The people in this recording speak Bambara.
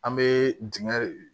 An bɛ dingɛ